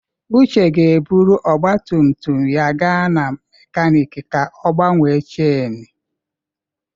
Uche ga-eburu ọgba tum tum ya gaa na mekaniiki ka ọ gbanwee cháinu.